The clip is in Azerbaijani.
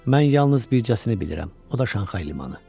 Mən yalnız bircəsini bilirəm, o da Şanxay limanı.